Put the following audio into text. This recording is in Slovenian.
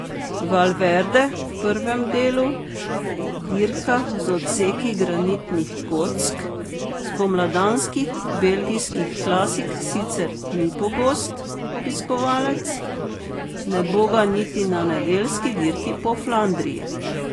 Valverde v prvem delu, dirkah z odseki granitnih kock, spomladanskih belgijskih klasik sicer ni pogost obiskovalec, ne bo ga niti na nedeljski dirki po Flandriji.